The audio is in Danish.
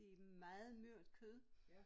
Det meget mørt kød